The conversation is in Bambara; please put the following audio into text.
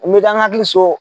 U bɛ kɛ kan ka hakili so.